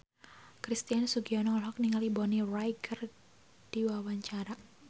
Christian Sugiono olohok ningali Bonnie Wright keur diwawancara